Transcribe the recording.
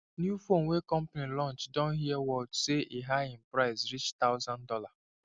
new phone wey company launch don hear word say e high in price reach thousand dollar